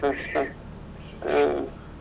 ಹ ಹ ಹ ಹಾ.